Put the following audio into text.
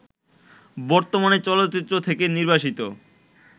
বর্তমানে চলচ্চিত্র থেকে নির্বাসিত